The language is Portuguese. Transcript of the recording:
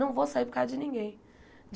Não vou sair por causa de ninguém.